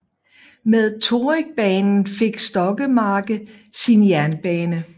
Med Torrigbanen fik Stokkemarke sin jernbane